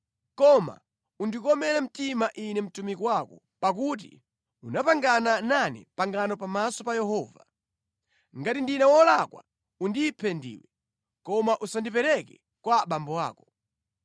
Koma undikomere mtima ine mtumiki wako, pakuti unapangana nane pangano pamaso pa Yehova. Ngati ndine wolakwa undiphe ndiwe, koma usandipereke kwa abambo ako.”